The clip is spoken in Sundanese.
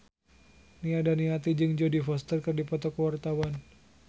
Nia Daniati jeung Jodie Foster keur dipoto ku wartawan